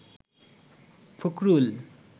Fakhrul